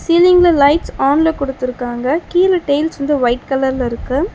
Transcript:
சிலிங்ல lights ஆன்ல குடுத்திருக்காங்க கீழ டைல்ஸ் வந்து ஒயிட் கலர்ல இருக்கு.